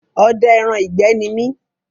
Ọdẹ ẹran ìgbẹ́ ní mi